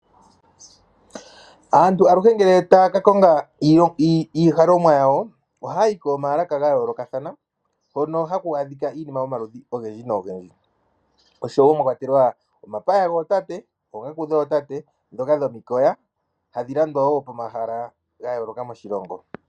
Aantu aluhe ngele taya ka konga iihalomwa yawo ohaya yi koomalaka dha yoolokathana hono haku adhika iinima yomaludhi nomaludhi mwa kwatelwa omapaya gootate, oongaku dhootate ndhoka dhomikoya hadhi landwa wo pomahala ga yooloka moshilongo.